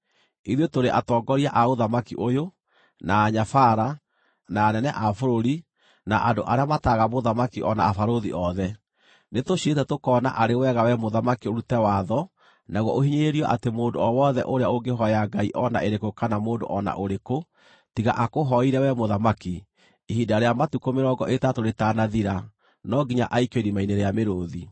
Ithuĩ tũrĩ atongoria a ũthamaki ũyũ, na anyabara, na anene a bũrũri, na andũ arĩa mataaraga mũthamaki o na abarũthi othe, nĩtũciirĩte tũkoona arĩ wega we mũthamaki ũrute watho naguo ũhinyĩrĩrio atĩ mũndũ o wothe ũrĩa ũngĩhooya ngai o na ĩrĩkũ kana mũndũ o na ũrĩkũ, tiga akũhooire wee mũthamaki, ihinda rĩa matukũ mĩrongo ĩtatũ rĩtanathira, no nginya aikio irima-inĩ rĩa mĩrũũthi.